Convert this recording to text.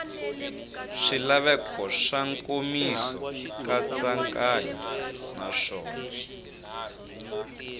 swilaveko swa nkomiso nkatsakanyo naswona